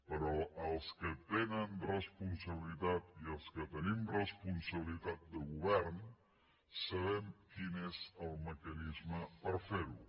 però els que tenen responsabilitat i els que tenim responsabilitat de govern sabem quin és el mecanisme per fer ho